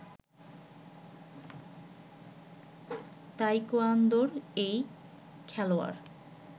তায়কোয়ান্দোর এই খেলোয়াড়